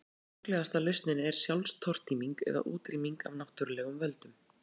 Sorglegasta lausnin er sjálfstortíming eða útrýming af náttúrulegum völdum.